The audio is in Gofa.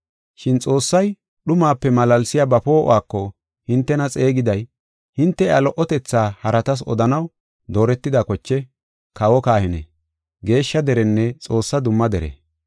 Shin Xoossay dhumape malaalsiya ba poo7uwako hintena xeegiday, hinte iya lo77otetha haratas odanaw dooretida koche, kawo kahine, geeshsha derenne Xoossaa dumma dere.